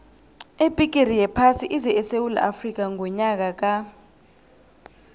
ibhigiri yephasi ize esewula afrika ngonyaka ka